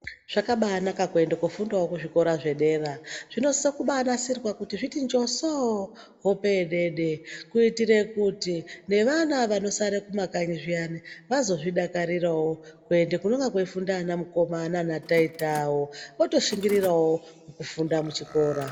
Zvakabanaka kuende kofundawo kuzvikora zvedera. Zvinosiso kubanasirwa kuti zviti njosoo hope yedeede, kuitire kuti nevana vanosara kumakanyi zviya vazozvidakarirawo kuende kunonga kweifunda vana mukoma nanataita vawo, votoshingirirawo kufunda muchikora.